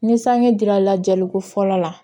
Ni sanji dira lajɛli ko fɔlɔ la